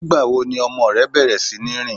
Ní ìgbà wo ni ọmọ rẹ bẹ̀rẹ̀ sí ní rìn?